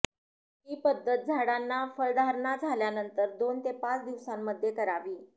ही पद्धत झाडांना फळधारणा झाल्यानंतर दोन ते पाच दिवसांमध्ये करावी